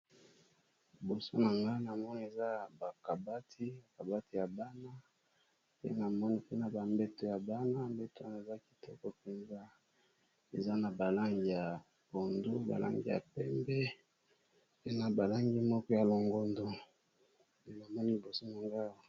Liboso na ngai na moni eza bakabati bakabati ya bana mipe na bambeto ya bana mbeto bana eza kitoko mpenza eza na balangi ya bondo balangi ya pembe pe na balangi moko ya longondo elomani lbosomo ngawa